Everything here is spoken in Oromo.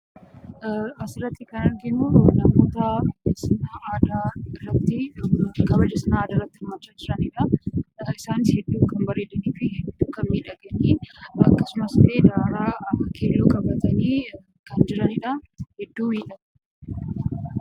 Asirratti jan arginu namoota sirna aadaa yookaan kabaja sirna aadaa irratti hirmaachaa jiranidha. Isaanis hedduu kan bareedanii fi hedduu kan miidhagan akkasumas illee daraaraa keelloo qabatanii kan jiranidha. Hedduu miidhagu!